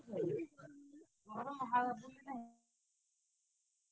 bgspeech